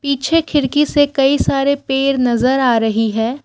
पीछे खिड़की से कई सारे पेर नजर आ रही है।